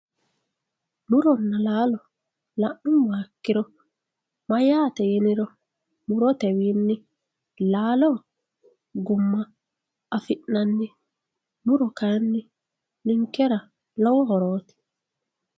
Muronna laalo la'nuummoha ikkiro mayyate yiniro murotewinni laalo gumma affi'nanni muro kayinni ninkera lowo horo.